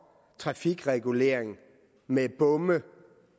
trafikregulering med bomme